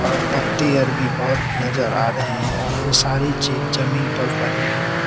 और पत्तीहर भी बहोत नजर आ रहे है और ये सारी चीज जमीन पर पड़ी हुई है।